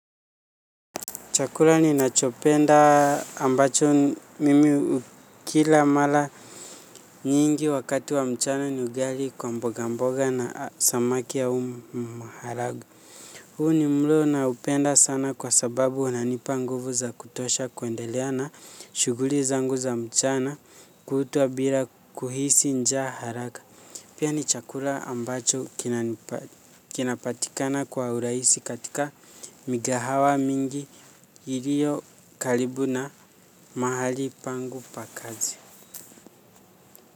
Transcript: Chakula ni nachopenda ambacho mimi hukila mala nyingi wakati wa mchana ni ugali kwa mboga mboga na samaki au maharagu. Huu ni mlo na upenda sana kwa sababu unanipa nguvu za kutosha kuendelea na shughuli za ngu za mchana kutwa bila kuhisi nja haraka. Pia ni chakula ambacho kinapatikana kwa urahisi katika migahawa mingi. Iliyo kalibu na mahali pangu pakazi.